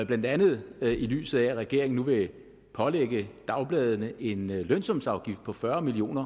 blandt andet i lyset af at regeringen nu vil pålægge dagbladene en lønsumsafgift på fyrre million